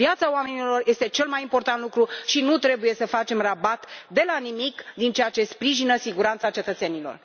Viața oamenilor este cel mai important lucru și nu trebuie să facem rabat de la nimic din ceea ce sprijină siguranța cetățenilor.